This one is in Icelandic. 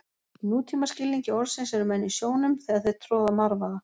Í nútíma skilningi orðsins eru menn í sjónum þegar þeir troða marvaða.